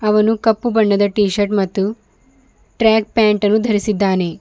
ಅವನು ಕಪ್ಪು ಬಣ್ಣದ ಟಿಶರ್ಟ್ ಮತ್ತು ಟ್ರ್ಯಾಕ್ ಪ್ಯಾಂಟ್ ಅನ್ನು ಧರಿಸಿದ್ದಾನೆ.